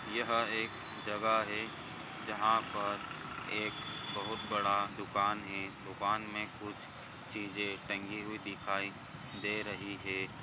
यहाँ एक जगह है जहाँ पर एक बहुत बड़ा दुकान है दुकान मे कुछ चीजे टंगी हुई दिखाई दे रही है।